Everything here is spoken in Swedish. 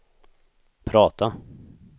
prata